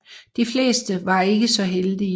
De fleste var ikke så heldige